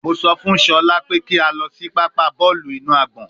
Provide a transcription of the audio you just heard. Mo sọ fun Shola pe ki a lọ si papa bọọlu inu agbọn